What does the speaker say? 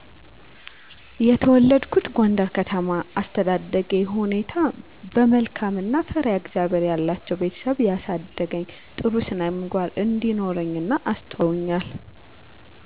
የተወለድኩት ጎንደር ከተማ የአስተዳደጌ ሁኔታ በመልካም እና ፈርሃ እግዚአብሔር ያላቸዉ ቤተሰብ ያሳደገኝ ጥሩ ስነምግባር እንዲኖረኝ እና አስተዋይ እንድሆን አድርገዉ አሳድገዉኛ